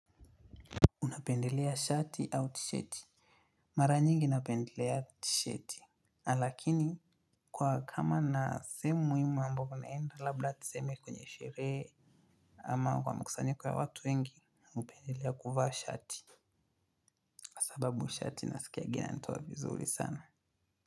Napendelea shati au tishati. Mara nyingi napendelea tishati. Lakini kwa kama nina sehemu muhimu ambapo naenda labda tuseme kwenye sherehe ama kwa mkusanyiko wa watu wengi, hupendelea kuvaa shati. Sababu shati nasikianga inanitoa vizuri sana.